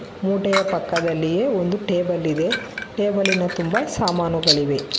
ಮೂಟೆಯ ಪಕ್ಕದಲ್ಲಿಯೇ ಒಂದು ಟೇಬಲ್ ಇದೆ ಟೇಬಲಿ ನ ಮೇಲೆ ತುಂಬಾ ಸಾಮಾನುಗಳಿವೆ.